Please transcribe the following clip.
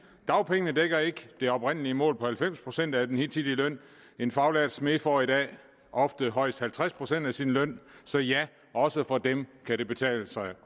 dagpengene dækker ikke det oprindelige mål på halvfems procent af den hidtidige løn en faglært smed får i dag ofte højst halvtreds procent af sin løn så ja også for dem kan det betale sig